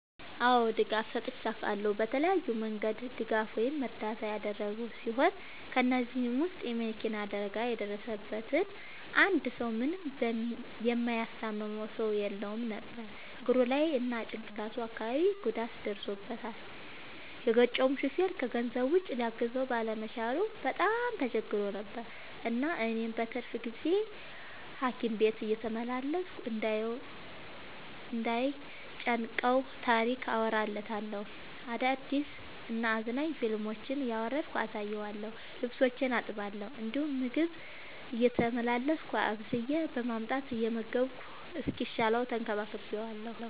አዎ ድጋፍ ሰጥቼ አውቃለሁ። በተለያየ መንገድ ድጋፍ ወይም እርዳታ ያደረግሁ ሲሆን ከ እነዚህም ውስጥ የ መኪና አደጋ የደረሠበትን አንድ ሰው ምንም የሚያስታምመው ሰው የለውም ነበር እግሩ ላይ እና ጭቅላቱ አካባቢ ጉዳት ደርሶበታል። የገጨው ሹፌርም ከገንዘብ ውጪ ሊያግዘው ባለመቻሉ በጣም ተቸግሮ ነበር። እናም እኔ በትርፍ ጊዜዬ ሀኪም ቤት እየተመላለስኩ እንዳይ ጨንቀው ታሪክ አወራለታለሁ፤ አዳዲስ እና አዝናኝ ፊልሞችን እያወረድኩ አሳየዋለሁ። ልብሶቹን አጥብለታለሁ እንዲሁም ምግብ ቤቴ እየተመላለስኩ አብስዬ በማምጣት እየመገብኩ እስኪሻለው ተንከባክቤዋለሁ።